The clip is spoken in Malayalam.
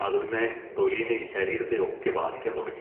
അത് പിന്നെ തൊലിനേം ശരീരത്തേ ഒക്കെ ബാധിക്കാൻ തുടങ്ങി.